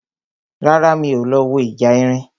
Rárá, mi ò lọ wo ìjà erin